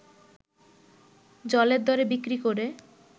জলের দরে বিক্রি করে